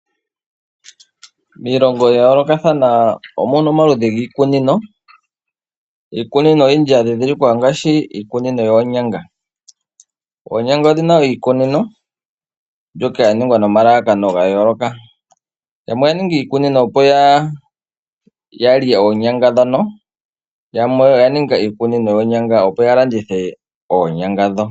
Miilongo ya yoolokathana omuna omaludhi giikunino. Iikunino oyindji ya ndhindhilikwa ongaashi iikunino yoonyanga. Oonyanga odhi na iikunino mbyoka ya ningwa nomalalakano ga yooloka. Yamwe oya ninga iikunino opo ya lye oonyanga ndhono, yamwe oya ninga iikunino yoonyanga opo ya landithe oonyanga ndho.